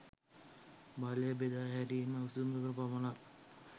බලය බෙදා හැරීමේ විසඳුමකට පමණක්